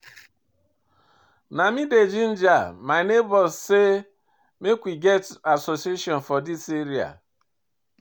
Na me dey ginger my nebors sey make we get association for dis area.